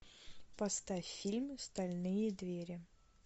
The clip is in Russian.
поставь фильм стальные двери